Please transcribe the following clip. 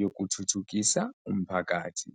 yokuthuthukisa umphakathi.